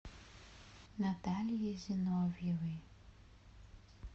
натальей зиновьевой